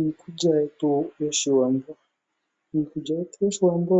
Iikulya yetu yOshiwambo Iikulya yetu yOshiwambo